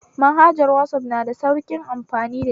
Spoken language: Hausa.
Manhajar wazaf na da sauƙin amfani dashi